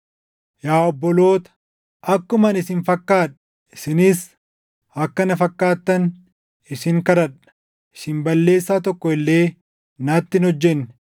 Yaa obboloota, akkuma ani isin fakkaadhe, isinis akka na fakkaattan isin kadhadha. Isin balleessaa tokko illee natti hin hojjenne.